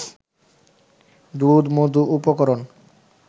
দুধ-মধু উপকরণ